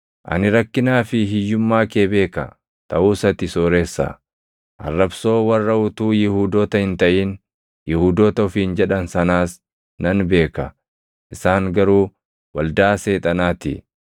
Ani rakkinaa fi hiyyummaa kee beeka; taʼus ati sooressa! Arrabsoo warra utuu Yihuudoota hin taʼin Yihuudoota ofiin jedhan sanaas nan beeka; isaan garuu waldaa Seexanaa ti.